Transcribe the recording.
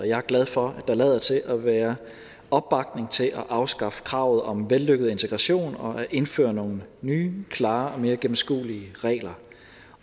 jeg er glad for at der lader til at være opbakning til at afskaffe kravet om vellykket integration og at indføre nogle nye klare og mere gennemskuelige regler